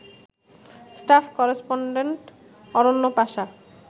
staff correspondent Aranya Pasha